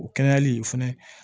O kɛnɛyali fɛnɛ